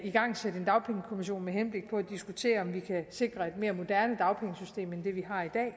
igangsætte en dagpengekommission med henblik på at diskutere om vi kan sikre et mere moderne dagpengesystem end det vi